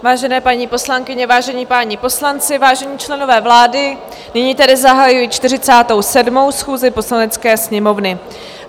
Vážené paní poslankyně, vážení páni poslanci, vážení členové vlády, nyní tedy zahajuji 47. schůzi Poslanecké sněmovny.